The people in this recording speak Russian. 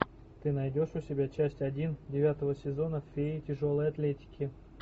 ты найдешь у себя часть один девятого сезона феи тяжелой атлетики